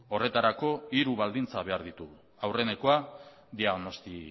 horretarako hiru baldintza behar ditugu aurrenekoa diagnosi